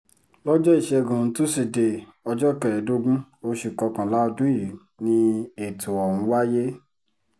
lọ́jọ́ ìṣẹ́gun tusidee ọjọ́ kẹẹ̀ẹ́dógún oṣù kọkànlá ọdún yìí ni ètò ọ̀hún wáyé